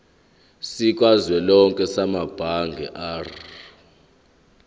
sikazwelonke samabanga r